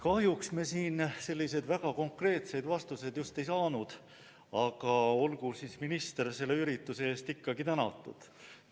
Kahjuks me siin väga konkreetseid vastuseid just ei saanud, aga olgu minister selle ürituse eest ikkagi tänatud.